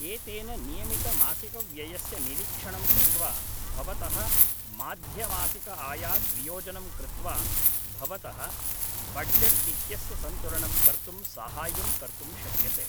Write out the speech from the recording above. एतेन नियमितमासिकव्ययस्य निरीक्षणं कृत्वा भवतः माध्यमासिकआयात् वियोजनं कृत्वा भवतः बड्जट्इत्यस्य सन्तुलनं कर्तुं साहाय्यं कर्तुं शक्यते